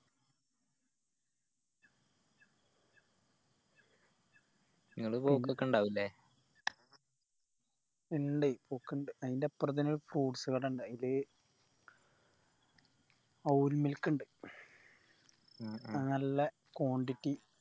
ഇങ്ങള് പോക്ക് ഒക്കെ ഇണ്ടാവും അല്ലെ ഇണ്ട് പോക്കിണ്ട് അയിന്റെ അപ്പറം തന്നെ fruits കട ഇണ്ട് ആയിൽ avil milk ഇണ്ട് ഉം ഉം അത് നല്ല quantity